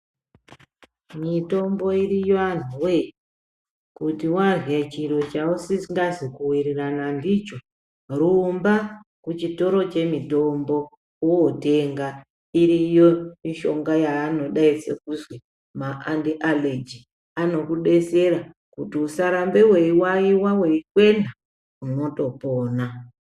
Mitombo iriyo antuwe , kuti warye chiro chausingazi kuwirirana ndicho rumba kuchitoro chemitombo wotenga iriyo mishonga yaanodaidze kuzwi maanti allergy anokudesera kuti usarambe weiwayiwa weikwena unotopona.